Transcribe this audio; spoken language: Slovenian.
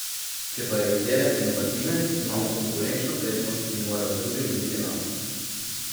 Če pa je izdelek inovativen, imamo konkurenčno prednost in morajo drugi loviti nas.